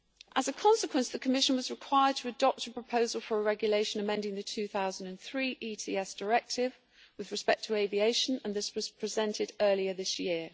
As a consequence, the Commission was required to adopt a proposal for a regulation amending the 2003 Emissions Trading System Directive with respect to aviation and this was presented earlier this year.